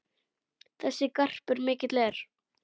Þessi garpur mikill er.